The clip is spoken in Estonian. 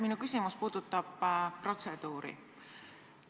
Minu küsimus puudutab protseduuri.